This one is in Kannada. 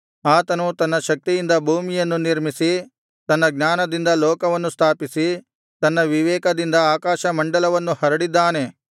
ಆತನು ತನ್ನ ಶಕ್ತಿಯಿಂದ ಭೂಮಿಯನ್ನು ನಿರ್ಮಿಸಿ ತನ್ನ ಜ್ಞಾನದಿಂದ ಲೋಕವನ್ನು ಸ್ಥಾಪಿಸಿ ತನ್ನ ವಿವೇಕದಿಂದ ಆಕಾಶಮಂಡಲವನ್ನು ಹರಡಿದ್ದಾನೆ